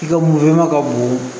I ka ka bon